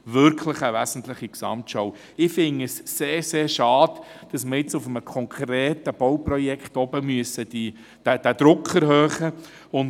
Ich finde es sehr, sehr schade, dass wir jetzt bei einem konkreten Bauprojekt den Druck erhöhen müssen.